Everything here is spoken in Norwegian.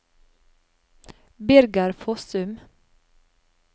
Birger Fossum